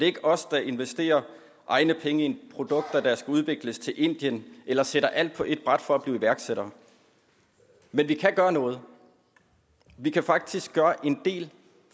ikke os der investerer egne penge i produkter der skal udvikles til indien eller sætter alt på et bræt for at blive iværksætter men vi kan gøre noget vi kan faktisk gøre en del